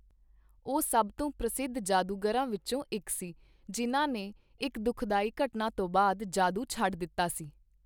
ਉਹ ਸਭ ਤੋਂ ਪ੍ਰਸਿੱਧ ਜਾਦੂਗਰਾਂ ਵਿੱਚੋਂ ਇੱਕ ਸੀ ਜਿਨ੍ਹਾਂ ਨੇ ਇੱਕ ਦੁਖਦਾਈ ਘਟਨਾ ਤੋਂ ਬਾਅਦ ਜਾਦੂ ਛੱਡ ਦਿੱਤਾ ਸੀ।